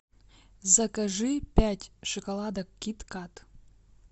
закажи пять шоколадок кит кат